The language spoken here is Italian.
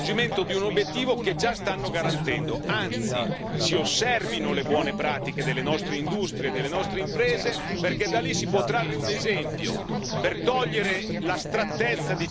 Anzi, si osservino le buone pratiche delle nostre industrie e delle nostre imprese, perché da lì si può trarre un esempio per togliere l'astrattezza di certe discussioni che vediamo qua in questo Parlamento.